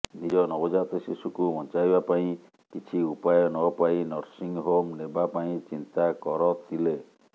ନିଜ ନବଜାତ ଶିଶୁକୁ ବଞ୍ଚାଇବା ପାଇଁ କିଛି ଉପାୟ ନପାଇ ନସିଂହୋମ ନେବା ପାଇଁ ଚିନ୍ତା କରଥିଲେ